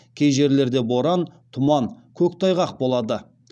кей жерлерде боран тұман көктайғақ болады